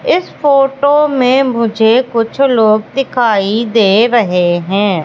इस फोटो में मुझे कुछ लोग दिखाई दे रहें हैं।